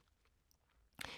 DR2